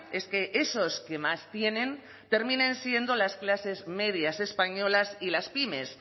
es que esos que más tienen terminen siendo las clases medias españolas y las pymes